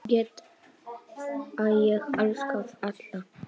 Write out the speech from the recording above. Þar get ég elskað alla.